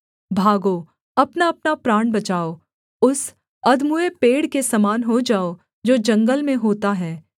भागो अपनाअपना प्राण बचाओ उस अधमूए पेड़ के समान हो जाओ जो जंगल में होता है